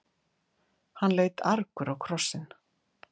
Hann leit argur á krossinn.